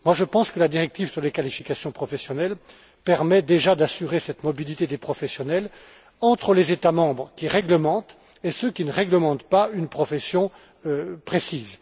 Je pense que la directive sur les qualifications professionnelles permet déjà d'assurer cette mobilité des professionnels entre les États membres qui réglementent et ceux qui ne réglementent pas une profession précise.